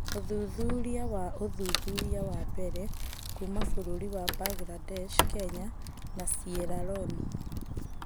ũthuthuria wa ũthuthuria wa mbere kuuma bũrũri wa Mbangirandesh, Kenya na Sieraloni.